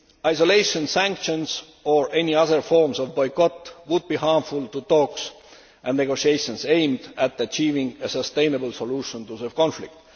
Isolation, sanctions or any other forms of boycott would be harmful to talks and negotiations aimed at achieving a sustainable solution to the conflict.